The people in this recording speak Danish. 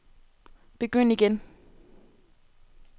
begynd igen